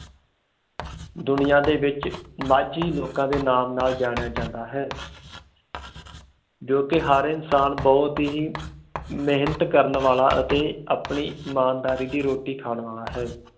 ਦੁਨੀਆਂ ਦੇ ਵਿਚ ਮਾਝੀ ਲੋਕਾਂ ਦੇ ਨਾਮ ਨਾਲ ਜਾਣਿਆ ਜਾਂਦਾ ਹੈ ਜੋ ਕਿ ਹਰ ਇਨਸਾਨ ਬਹੁਤ ਹੀ ਮੇਹਨਤ ਕਰਨ ਵਾਲਾ ਅਤੇ ਆਪਣੀ ਇਮਾਨਦਾਰੀ ਦੀ ਰੋਟੀ ਖਾਨ ਵਾਲਾ ਹੈ